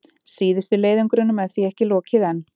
Síðustu leiðöngrunum er því ekki lokið enn.